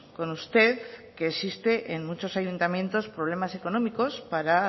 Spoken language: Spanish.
con usted que existe en muchos ayuntamientos problemas económicos para